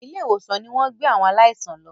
ilé ìwòsan ní wón gbé àwọn aláìsàn ló.